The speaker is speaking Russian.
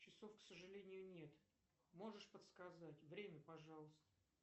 часов к сожалению нет можешь подсказать время пожалуйста